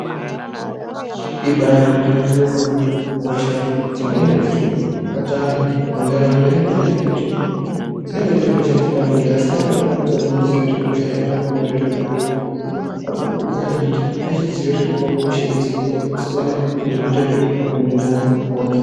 Ibari gwinyiso yemene. Hosha dzimweni dzirikubata anhu muntaraunda ihosha dzekuti dzinenge dziri hosha dzepabonde asi antu anokwanisa kutadza kuziya kuti hosha aiona pabonde. Madhokodheya arikukurudzira antu kuti adzivirire hosha idzi nenyaya yekusiyana nezvekuita zvepabonde neantu akawanda maningi.